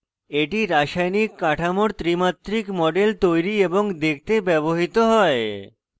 এটি রাসায়নিক কাঠামোর ত্রিমাত্রিক models তৈরি এবং দেখতে ব্যবহৃত হয়